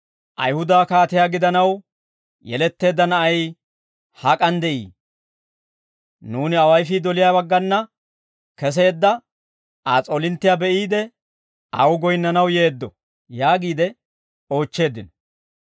«Ayihuda kaatiyaa gidanaw yeletteedda na'ay hak'an de'ii? Nuuni awayifii doliyaa baggana keseedda Aa s'oolinttiyaa be'iide, aw goyinnanaw yeeddo» yaagiide oochcheeddino.